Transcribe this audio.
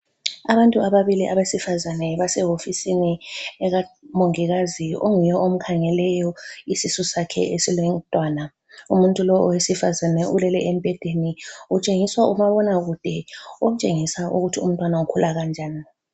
Abantu ababili abesifazane basewofisini ekamongikazi onguye omkhangeleyo isisu sakhe esilomntwana. Umuntu lowu owesifazane ulele embhedeni utshengiswa umabonakude omtshengisa ukuthi umntwana ukhula kanjani.